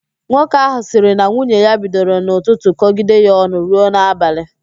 Nwoke ahụ sịrị na nwunye ya bidoro n'ụtụtụ kọgide ya ọnụ ruo n'abalị